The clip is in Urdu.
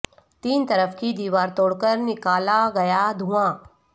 تین طرف کی دیوار توڑ کر نکالا گیا دھواں